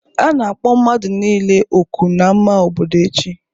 A na-akpọ mmadụ niile ọkụ n'ámá obodo echi